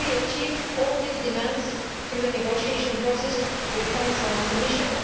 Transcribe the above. We achieved all these demands through the negotiating process with the Council and the Commission.